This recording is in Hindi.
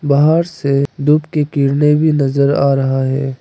बाहर से धूप की किरणे भी नजर आ रहा है।